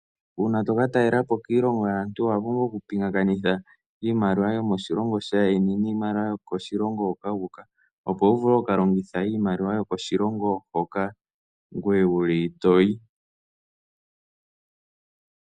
Uuna to kataalelapo kiilongo yaantu, owa pumbwa oku pingakanitha iimaliwa yomoshilongo shaayeni, niimaliwa yokoshilongo hoka wu uka, opo wu vule oku ka longitha iimaliwa yo koshilongo hoka ngoye wuli toyi.